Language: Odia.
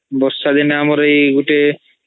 ବର୍ଷାଦିନର ଆମର୍ ଏଇ ଗୋଟେ